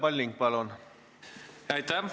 Aitäh!